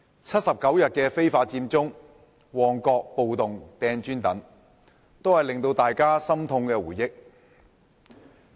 七十九日非法佔中、旺角暴動扔磚等，都是大家心痛的回憶。